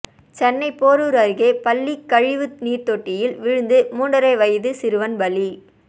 சென்னை போரூர் அருகே பள்ளி கழிவு நீர் தொட்டியில் விழுந்து மூன்றரை வயது சிறுவன் பலி